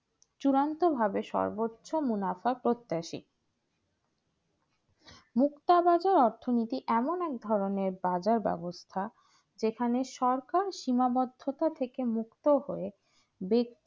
চিরন্ত ভাবে সর্বোচ্চ মুনাফা প্রত্যাশী মুখতাবাদের অর্থনৈতিক এমন এক ধরনের বাজার ব্যবস্থা। যেখানে সরকার সীমাবদ্ধতা থেকে মুক্ত হয়ে বেশি